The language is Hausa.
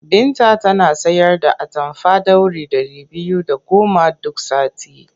Binta tana sayar da atamfa ɗauri ɗari biyu da goma duk sati.